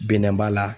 Binnanbala